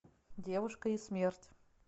девушка и смерть